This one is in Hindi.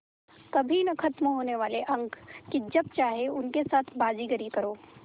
कभी न ख़त्म होने वाले अंक कि जब चाहे उनके साथ बाज़ीगरी करो